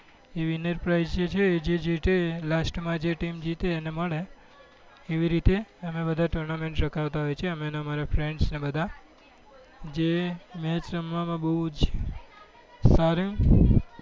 બ winner price છે એ જે જીતે last જે team જીતે એને મળે એવી રીતે અમે tournamrnt રખાવતા હોય છે અમે ને અમારા friends ને બધા જે match રમવા માં બઉ જ સારું હોય